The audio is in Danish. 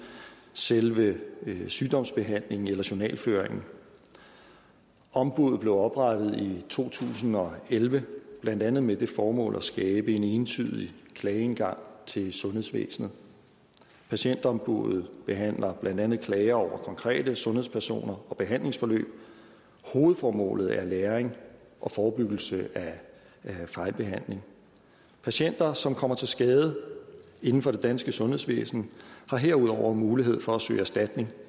selve sygdomsbehandlingen eller journalføringen ombuddet blev oprettet i to tusind og elleve blandt andet med det formål at skabe en entydig klageindgang til sundhedsvæsenet patientombuddet behandler blandt andet klager over konkrete sundhedspersoner og behandlingsforløb hovedformålet er læring og forebyggelse af fejlbehandling patienter som kommer til skade inden for det danske sundhedsvæsen har herudover mulighed for at søge erstatning